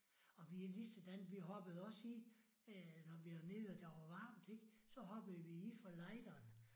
Og vi er lige sådan vi hoppede også i når vi var nede og der var varmt ik så hoppede vi i fra lejderen